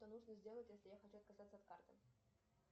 что нужно сделать если я хочу отказаться от карты